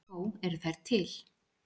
Þó eru þær til.